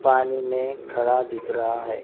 पानी में खड़ा दिख रहा है।